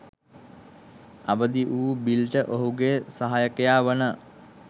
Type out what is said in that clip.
අවදි වූ බිල්ට ඔහුගේ සහයකයා වන